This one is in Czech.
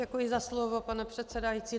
Děkuji za slovo, pane předsedající.